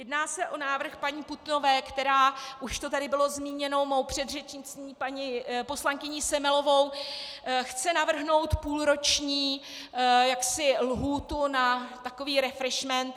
Jedná se o návrh paní Putnové, která - už to tady bylo zmíněno mou předřečnicí paní poslankyní Semelovou - chce navrhnout půlroční lhůtu na takový refreshment.